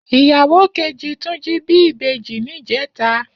Iyáwó kéjí Tunji bi ibéjí nijètá